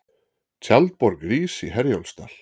Tjaldborg rís í Herjólfsdal